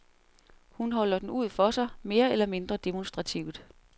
Hun holder den ud for sig, mere eller mindre demonstrativt.